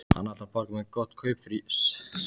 Hann ætlar að borga mér gott kaup fyrir, svaraði Jói.